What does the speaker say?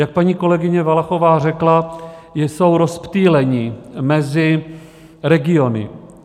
Jak paní kolegyně Valachová řekla, jsou rozptýleni mezi regiony.